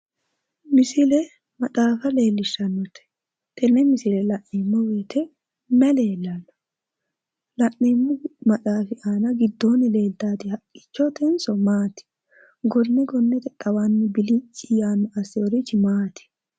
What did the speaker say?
Misile maxaafa leellishshannote? Yenne misile. la'neemmo. woyite mayi leellanno la'neemmo maxaafi aana leeltannoti haqqichotenso maati? gonne gonnete xawanni bilicci yaanno assinohu maati?